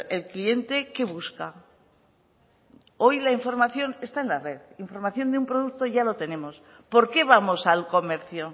el cliente qué busca hoy la información está en la red información de un producto ya lo tenemos por qué vamos al comercio